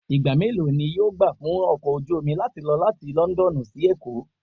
Ìgbà mélòó ni yóò gbà fún ọkọ̀ ojú omi láti lọ láti London sí Èkó?